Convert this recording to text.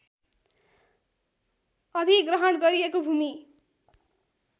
अधिग्रहण गरिएको भूमि